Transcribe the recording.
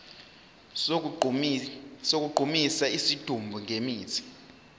sokugqumisa isidumbu ngemithi